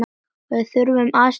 Við þurftum aðstoð til baka.